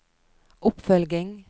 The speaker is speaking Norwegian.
oppfølging